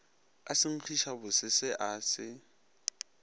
ka senkgišabose se a se